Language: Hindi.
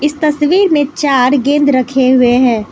इस तस्वीर में चार गेंद रखे हुए हैं।